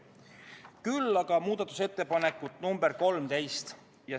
Küll aga muudatusettepanekut nr 13.